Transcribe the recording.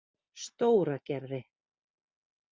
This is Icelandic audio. Stóragerði